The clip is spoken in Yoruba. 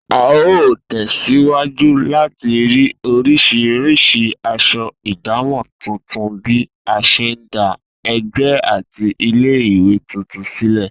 A óò tè̩síwájú láti rí orís̩irís̩i as̩o̩ ìdámò̩ tuntun bí a s̩e ń dá e̩gbé̩ àti ilé-ìwé tuntun sílè̩